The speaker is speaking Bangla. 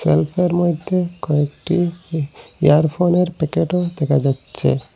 সেলফের মইধ্যে কয়েকটি ই ইয়ার ফোনের প্যাকেটও দেখা যাচ্ছে।